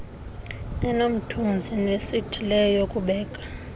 enomthunzi nesithileyo yokubeka